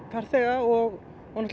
farþega og